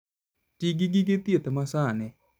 Ti gi gige thieth masani.